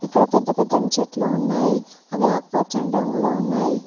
ఇక్కడ పెద్ద పెద్ద ని చెట్లు ఉన్నాయి అవి ఆకుపచ్చని రంగులో ఉన్నాయి.